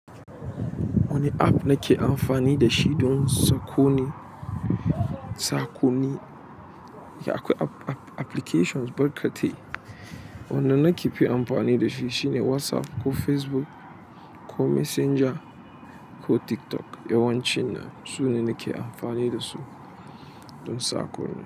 Wani app nake amfani da shi don saƙonni, saƙonni. Ya akwai applications barkatai, wannan nake fi amfani da shi shine WhatsApp ko Facebook ko Messenger ko TikTok. Yawancin su ne nake amfani da su don saƙonni.